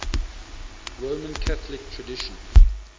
roman catholic tradition